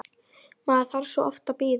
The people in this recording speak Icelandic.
Maður þarf svo oft að bíða!